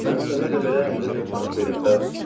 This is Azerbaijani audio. Mən sənə elə-belə 50 min frank verim bəs?